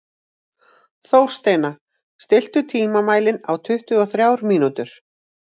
Þórsteina, stilltu tímamælinn á tuttugu og þrjár mínútur.